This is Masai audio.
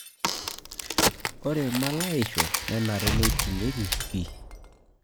Ore mulayaisho nenare neitingieki pii